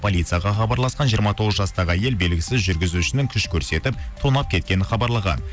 полицияға хабарласқан жиырма тоғыз жастағы әйел белгісіз жүргізушінің күш көрсетіп тонап кеткенін хабарлаған